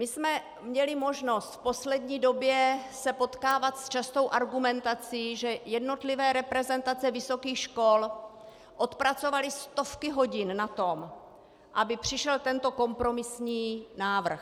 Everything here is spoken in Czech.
My jsme měli možnost v poslední době se potkávat s častou argumentací, že jednotlivé reprezentace vysokých škol odpracovaly stovky hodin na tom, aby přišel tento kompromisní návrh.